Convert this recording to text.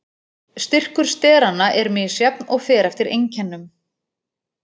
Styrkur steranna er misjafn og fer eftir einkennum.